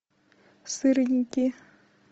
сырники